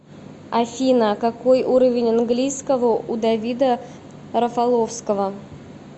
афина какой уровень английского у давида рафаловского